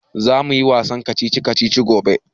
Za mu yi wasan kacici kacici gobe